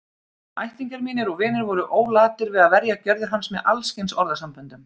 Ættingjar mínir og vinir voru ólatir við að verja gjörðir hans með alls kyns orðasamböndum.